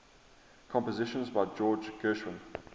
compositions by george gershwin